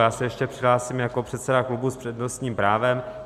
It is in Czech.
Já se ještě hlásím jako předseda klubu s přednostním právem.